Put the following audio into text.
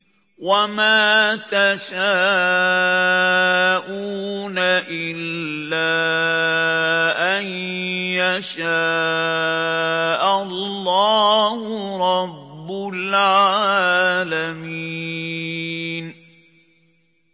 وَمَا تَشَاءُونَ إِلَّا أَن يَشَاءَ اللَّهُ رَبُّ الْعَالَمِينَ